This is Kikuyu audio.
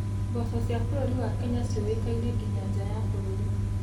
Mboco cia bũrũri wa Kenya ciũwĩkaine nginya nja wa bũrũri.